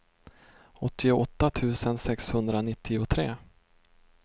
åttioåtta tusen sexhundranittiotre